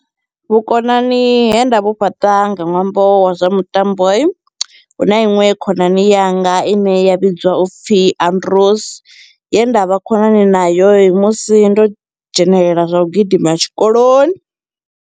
Vhukonani he nda vhu fhaṱa nga ṅwambo wa zwa mitambo huna iṅwe khonani yanga ine ya vhidziwa upfhi Andros ye nda vha khonani nayo musi ndo dzhenelela zwa u gidima tshikoloni.